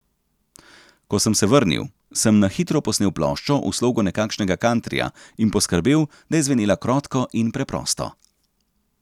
Ko sem se vrnil, sem na hitro posnel ploščo v slogu nekakšnega kantrija in poskrbel, da je zvenela krotko in preprosto.